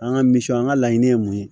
An ka miisiw an ka laɲini ye mun ye